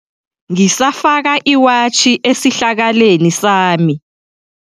Ngisafaka iwatjhi esihlakaleni sami.